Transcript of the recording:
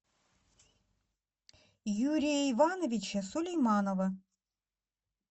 юрия ивановича сулейманова